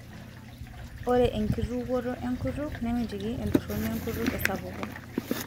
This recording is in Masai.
Ore enkitukuoto enkutuk nemitiki entoroni enkutuk esapuku.